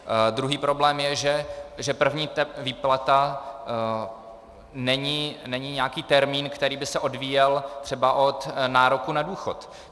Druhý problém je, že první výplata není nějaký termín, který by se odvíjel třeba od nároku na důchod.